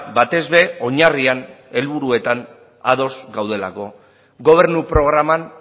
batez ere oinarrian helburuetan ados gaudelako gobernu programan